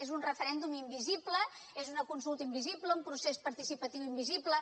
és un referèndum invisible és una consulta invisible un procés participatiu invisible